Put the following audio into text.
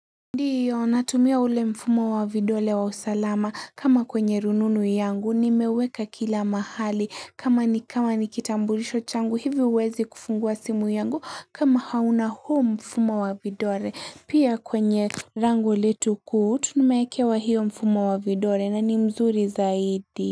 Ndiyo natumia ule mfumo wa vidole wa usalama kama kwenye rununu yangu nimeweka kila mahali kama nikama nikitambulisho changu hivyo huwezi kufungua simu yangu kama hauna huo mfumo wa vidole pia kwenye lango letu kuu tumekewa hiyo mfumo wa vidole na ni mzuri zaidi.